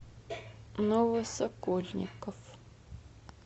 новосокольников